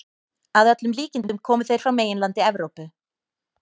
Að öllum líkindum komu þeir frá meginlandi Evrópu.